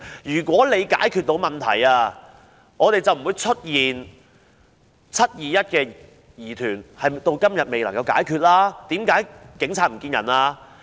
如果是可以解決問題的話，就不會出現"七二一"的疑團，此事至今仍未解決，為甚麼當時警察會"唔見人"呢？